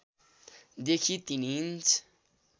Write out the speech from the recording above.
देखि ३ इन्च